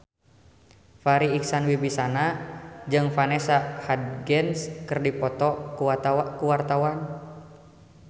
Farri Icksan Wibisana jeung Vanessa Hudgens keur dipoto ku wartawan